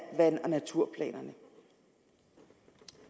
vand og naturplanerne